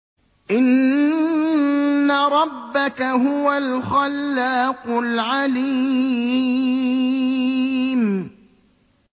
إِنَّ رَبَّكَ هُوَ الْخَلَّاقُ الْعَلِيمُ